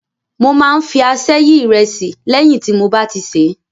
Mo máa ń fi aṣẹ́ yi ìrẹsì, léyìn tí mo bá ti a sè é.